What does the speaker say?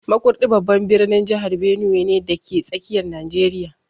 Makurdi babban birnin jihar Benue ne, dake tsakiyar Najeriya